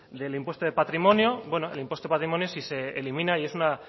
del impuesto de patrimonio bueno el impuesto patrimonio si se elimina y es una